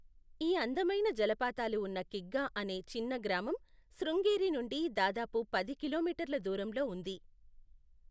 ఈ అందమైన జలపాతాలు ఉన్న కిగ్గా అనే చిన్న గ్రామం శృంగేరి నుండి దాదాపు పది కిలోమీటర్ల దూరంలో ఉంది.